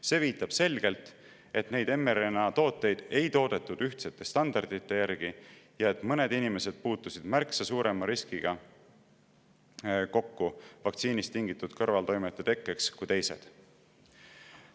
See viitab selgelt, et neid mRNA-tooteid ei toodetud ühtsete standardite järgi ja et mõned inimesed puutusid kokku märksa suurema riskiga vaktsiinist tingitud kõrvaltoimete tekkeks kui teised.